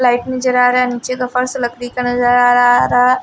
Light नजर आ रहा है नीचे का फर्स लकड़ी का नजर आ रहा है।